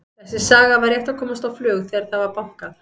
Þessi saga var rétt að komast á flug þegar það var bankað.